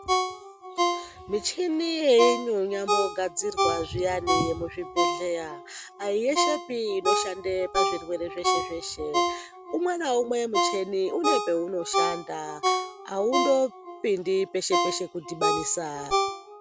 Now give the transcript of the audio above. Michini yeimwe yakugadzirwa zviyani muzvibhedhlera aiyeshepi inoshanda pazvirwere zveshe zveshe umwe naumwe une paunoshanda aundo pindi peshe peshe.